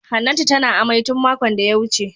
Hannatu tana amai tun makon da ya wuce.